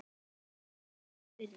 Er vel þess virði.